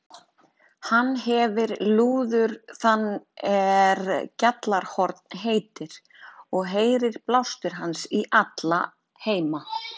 Hann hefir lúður þann er Gjallarhorn heitir, og heyrir blástur hans í alla heima.